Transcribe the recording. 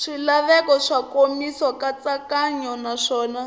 swilaveko swa nkomiso nkatsakanyo naswona